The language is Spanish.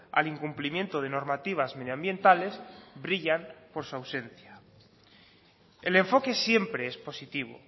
al incumplimiento de normativas medioambientales brillan por su ausencia el enfoque siempre es positivo